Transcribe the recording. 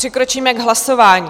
Přikročíme k hlasování.